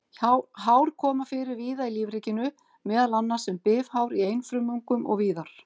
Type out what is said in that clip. Hár koma fyrir víða í lífríkinu, meðal annars sem bifhár í einfrumungum og víðar.